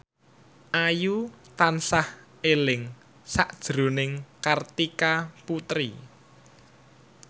Ayu tansah eling sakjroning Kartika Putri